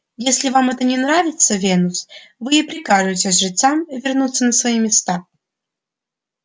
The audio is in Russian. если вам это не нравится венус вы и прикажете жрецам вернуться на свои места